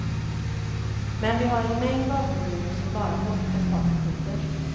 Men vi har en mängd vapenvilor som bara hållit ett par sekunder.